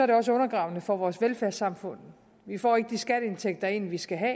det også undergravende for vores velfærdssamfund vi får ikke de skatteindtægter ind vi skal have